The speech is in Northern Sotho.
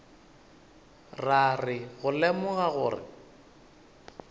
ra re go lemoga gore